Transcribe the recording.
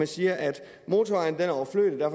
siger at motorvejen er overflødig og